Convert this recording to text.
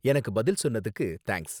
எனக்கு பதில் சொன்னதுக்கு தேங்க்ஸ்.